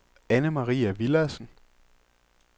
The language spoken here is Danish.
Annemarie Villadsen